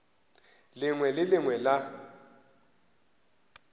lengwe le le lengwe la